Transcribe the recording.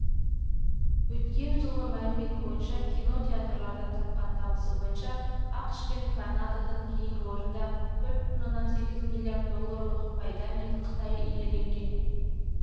өткен жылғы мәлімет бойынша кино театрлардан тапқан табысы бойынша ақш пен канададан кейінгі орынды төрт бүтін оннан сегіз миллиард долларлық пайдамен қытай иеленген